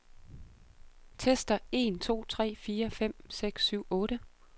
Tester en to tre fire fem seks syv otte.